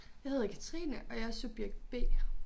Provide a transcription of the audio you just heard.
Jeg hedder Katrine og jeg er subjekt B